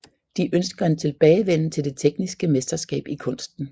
De ønsker en tilbagevenden til det tekniske mesterskab i kunsten